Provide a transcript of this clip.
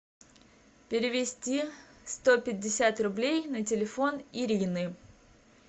перевести сто пятьдесят рублей на телефон ирины